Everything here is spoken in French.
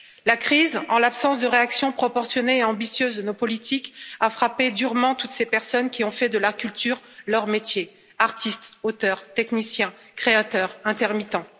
La crise, en l'absence de réaction proportionnée et ambitieuse de nos politiques, a frappé durement toutes ces personnes qui ont fait de la culture leur métier artistes, auteurs, techniciens, créateurs, intermittents.